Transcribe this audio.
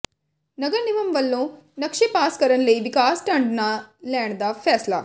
ਨਗਰ ਨਿਗਮ ਵੱਲੋਂ ਨਕਸ਼ੇ ਪਾਸ ਕਰਨ ਲਈ ਵਿਕਾਸ ਫੰਡ ਨਾ ਲੈਣ ਦਾ ਫੈਸਲਾ